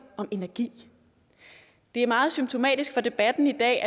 om energi det er meget symptomatisk for debatten i dag